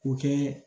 O kɛ